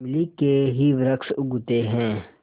इमली के ही वृक्ष उगते हैं